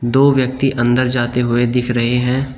दो व्यक्ति अंदर जाते हुए दिख रहे हैं।